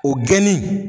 O geni